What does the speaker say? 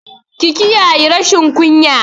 Ki kiyayi rashin kunya!